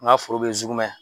N ka foro bɛ Zukumɛ.